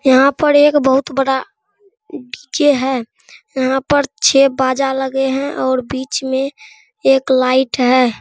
यहाँ पर एक बहुत बड़ा डी.जे. है | यहाँ पर छे बाजा लगे हैं और बिच में एक लाइट है |